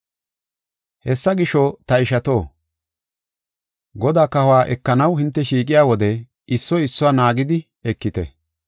Hessa gisho, ta ishato, Godaa kahuwa ekanaw hinte shiiqiya wode issoy issuwa naagidi ekite.